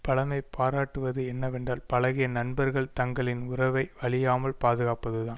பழைமை பாராட்டுவது என்னவென்றால் பழகிய நண்பர்கள் தங்களின் உறவை அழியாமல் பாதுகாப்பதுதான்